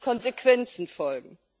Konsequenzen folgen.